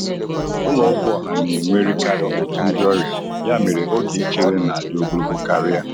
Ụlọ ọgwụ ọha na-enwerịkarị ọtụtụ ndi ọrịa, ya mere oge ichere na-adị ogologo karịa.